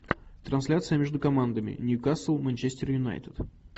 трансляция между командами ньюкасл манчестер юнайтед